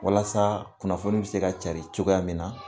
Walasa kunnafoni be se ka cari cogoya min na